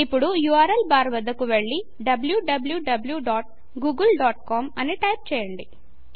ఇప్పుడు URL bar వద్దకు వెళ్ళి wwwgooglecom అని టైపు చేయండి